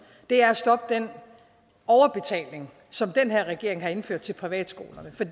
er at stoppe den overbetaling som den her regering har indført til privatskolerne for